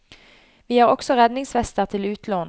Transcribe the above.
Vi har også redningsvester til utlån.